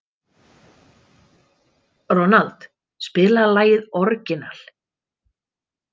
Ronald, spilaðu lagið „Orginal“.